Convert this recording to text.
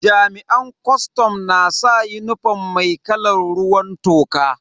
Jami'an kwastam na saka unifom mai kalan ruwan toka.